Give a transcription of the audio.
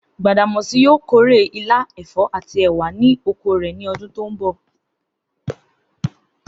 Gbàdàmó̩sí yóò kórè ilá, è̩fó̩ àti è̩wà ní oko rè̩ ní o̩dún tó ń bò̩